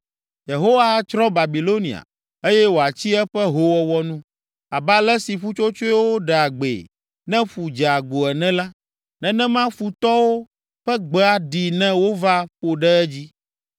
Yehowa atsrɔ̃ Babilonia, eye wòatsi eƒe hoowɔwɔ nu. Abe ale si ƒutsotsoewo ɖea gbee ne ƒu dze agbo ene la, nenema futɔwo ƒe gbe aɖii ne wova ƒo ɖe edzi.